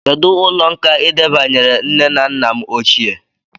Kedụ ụlọ nkà I debanyere nne na nna m ochie?